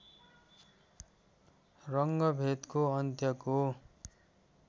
रङ्गभेदको अन्त्यको